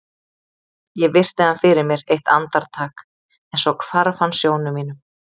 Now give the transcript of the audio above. Ég virti hann fyrir mér eitt andar- tak en svo hvarf hann sjónum mínum.